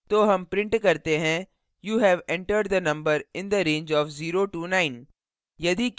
तो हम print करते हैं you have entered the number in the range of 09